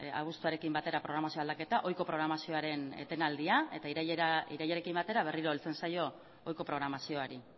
abuztuarekin batera programazioaren aldaketa ohiko programazioaren etenaldia eta irailarekin batera berriro heltzen zaio ohiko programazioari